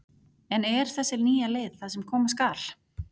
En er þessi nýja leið það sem koma skal?